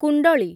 କୁଣ୍ଡଳୀ